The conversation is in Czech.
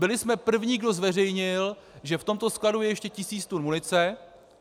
Byli jsme první, kdo zveřejnil, že v tomto skladu je ještě tisíc tun munice.